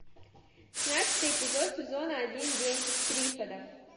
шестнадцатый эпизод сезона один день триффидов